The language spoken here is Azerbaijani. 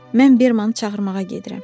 Mən Bermanı çağırmağa gedirəm.